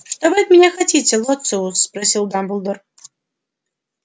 что вы от меня хотите лоциус спросил дамблдор